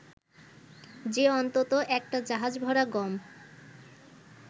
যে অন্তত একটা জাহাজভরা গম